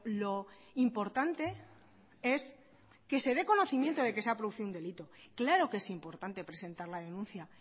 lo importante es que se de conocimiento de que se ha producido un delito claro que es importante presentar la denuncia